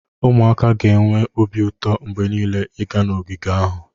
Ụmụaka ga-enwe obi ụtọ mgbe niile ịga n'ogige ahụ